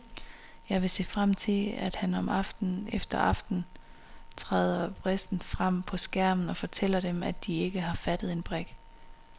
Jeg vil se frem til, at han aften efter aften træder vrissent frem på skærmen og fortæller dem, at de ikke har fattet en brik.